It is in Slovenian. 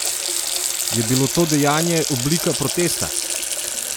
Je bilo to dejanje oblika protesta?